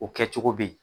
O kɛ cogo be yen